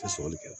sɔrɔli kɛla